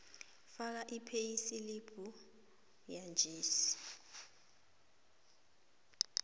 faka ipheyisilibhu yanjesi